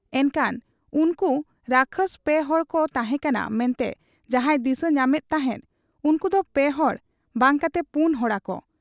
ᱮᱱᱠᱦᱟᱱ ᱩᱱᱠᱩ ᱨᱟᱠᱟᱥ ᱯᱮ ᱦᱚᱲᱠᱚ ᱛᱟᱦᱮᱸ ᱠᱟᱱᱟ ᱢᱮᱱᱛᱮ ᱡᱟᱦᱟᱸᱭ ᱫᱤᱥᱟᱹ ᱧᱟᱢᱮᱫ ᱛᱟᱦᱮᱸᱫ, ᱩᱱᱠᱩᱫᱚ ᱯᱮᱦᱚᱲ ᱵᱟᱝ ᱠᱟᱛᱮ ᱯᱩᱱ ᱦᱚᱲᱟᱠᱚ ?